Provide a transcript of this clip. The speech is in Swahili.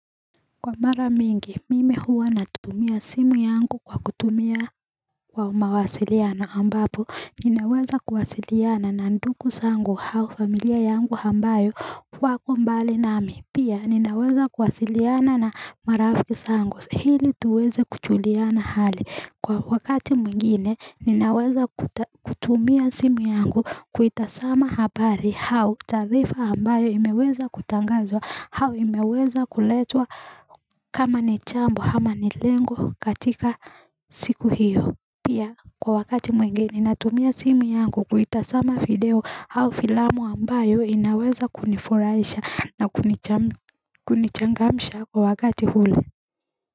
Kwa mara mingi mimi huwa natutumia simu yangu kwa kutumia kwa mawasiliano ambapo ninaweza kuwasiliana na nduku sangu hau familia yangu hambayo wako mbali nami pia ninaweza kuwasiliana na marafiki sangu hili tuweze kuchuliana hali Kwa wakati mwingine ninaweza kutumia simu yangu kuitasama habari hau tarifa ambayo imeweza kutangazwa hau imeweza kuletwa kama ni chambo hama ni lengo katika siku hiyo Pia kwa wakati mwingine nina tumia simu yangu kuitasama video hau filamu ambayo inaweza kunifuraisha na kunichangamsha kwa wakati huli.